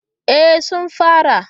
E, sun fara.